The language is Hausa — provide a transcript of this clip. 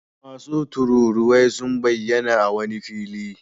Wasu tururuwai sun bayyana a wani fili.